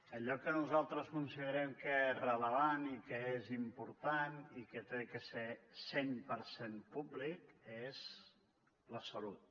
allò que nosaltres considerem que és rellevant i que és important i que ha de ser cent per cent públic és la salut